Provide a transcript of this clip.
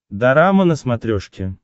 дорама на смотрешке